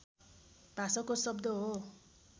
भाषाको शब्द हो